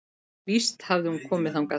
Víst hafði hún komið þangað.